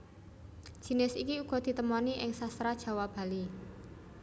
Jinis iki uga ditemoni ing Sastra Jawa Bali